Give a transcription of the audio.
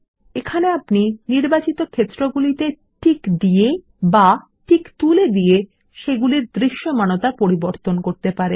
এখানে আপনি নির্বাচিত ক্ষেত্রগুলিতে টিক দিয়ে বা টিক তুলে দিয়ে সেগুলির দৃশ্যমানতা পরিবর্তন করতে পারেন